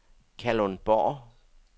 Kalundborg